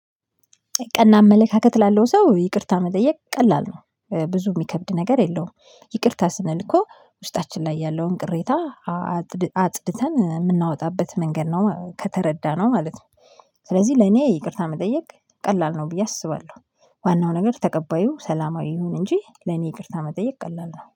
ቀና አመለካከት ላለው ሰው ይቅርታ መጠየቅ ቀላል ነው ብዙ የሚከብድ ነገር የለውም። ይቅርታ ስንልኮ ውስጣችን ላይ ያለውን ቅሬታ አጽድ አ አጽድተን የምናወጣበት መንገድ ነው ከተረዳነው ማለት ነው። ስለዚህ ለኔ ይቅርታ መጠየቅ ቀላል ነው ብዬ አስባለሁ። ዋናው ነገር ተቀባዩ ሰላማዊ ይሁን እንጂ ለኔ ይቅርታ መጠየቅ ቀላል ነው